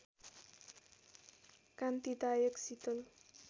कान्तिदायक शीतल